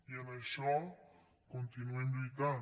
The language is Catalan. i en això continuem lluitant